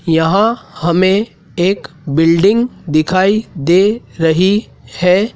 यहाँ हमें एक बिल्डिंग दिखाई दे रही है।